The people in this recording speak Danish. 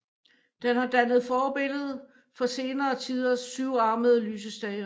Den har dannet forbillede for senere tiders syvarmede lysestager